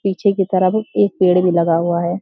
पीछे की तरफ एक पेड़ भी लगा हुआ है।